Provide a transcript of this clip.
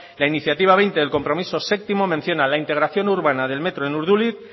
la iniciativa veinte del compromiso séptimo menciona la integración urbana del metro en urduliz